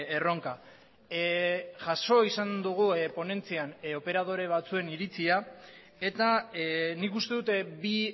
erronka jaso izan dugu ponentzian operadore batzuen iritzia eta nik uste dut bi